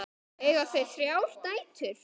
Eiga þau þrjár dætur.